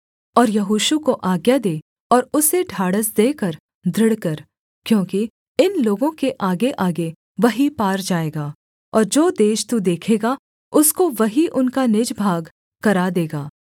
और यहोशू को आज्ञा दे और उसे ढाढ़स देकर दृढ़ कर क्योंकि इन लोगों के आगेआगे वही पार जाएगा और जो देश तू देखेगा उसको वही उनका निज भाग करा देगा